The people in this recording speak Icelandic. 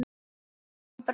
Guðrún Brá.